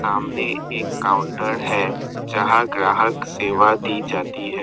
सामने एक काउंटर है जहां ग्राहक सेवा दी जाती है।